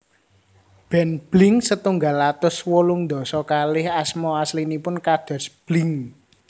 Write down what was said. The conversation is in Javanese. Band Blink setunggal atus wolung dasa kalih asma aslinipun kados Blink